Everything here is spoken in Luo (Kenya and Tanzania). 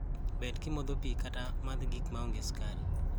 Bed kimodho pii kata madh gik ma onge sukar.